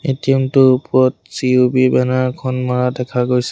ATM টোৰ ওপৰত CUB banner এখন মাৰা দেখা গৈছে।